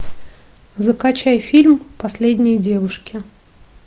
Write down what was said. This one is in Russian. закачай фильм последние девушки